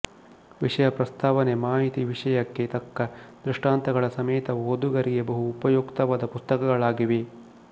ವಿಷಯ ಪ್ರಸ್ತಾವನೆ ಮಾಹಿತಿ ವಿಷಯಕ್ಕೆ ತಕ್ಕ ದೃಷ್ಟಾಂತ ಗಳ ಸಮೇತ ಓದುಗರಿಗೆ ಬಹು ಉಪಯುಕ್ತವಾದ ಪುಸ್ತಕಗಳಾಗಿವೆ